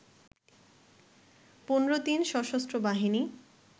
১৫ দিন সশস্ত্রবাহিনী